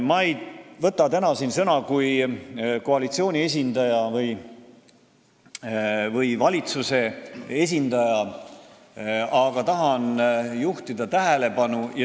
Ma ei võta täna siin sõna kui koalitsiooni või valitsuse esindaja.